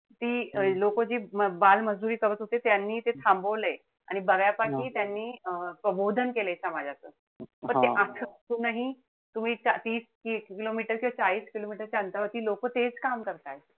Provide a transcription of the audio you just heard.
ती लोक जी बालमजुरी करत होते त्यांनी ते थांबवलय. आणि बऱ्यापैकी त्यांनी अं प्रबोधन केलंय समाजाचं. पण ते तुम्ही तीस-तीस kilometer किंवा चाळीस kilometer च्या अंतरावरती लोक तेच काम करताय.